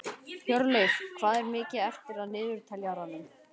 Hjörleif, hvað er mikið eftir af niðurteljaranum?